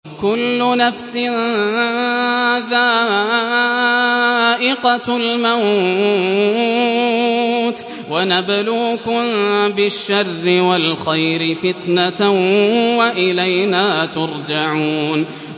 كُلُّ نَفْسٍ ذَائِقَةُ الْمَوْتِ ۗ وَنَبْلُوكُم بِالشَّرِّ وَالْخَيْرِ فِتْنَةً ۖ وَإِلَيْنَا تُرْجَعُونَ